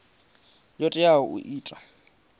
yo teaho i tea u